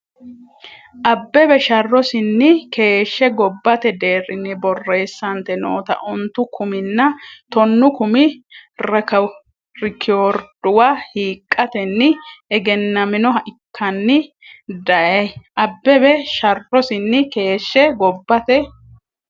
Abbebe sharrosinni keeshshe gobbate deerrinni borreessante noota ontu kuminna tonnu kumi rekoorduwa hiiqqatenni egennaminoha ikkanni dayi Abbebe sharrosinni keeshshe gobbate.